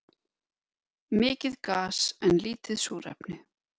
Mikið gas en lítið súrefni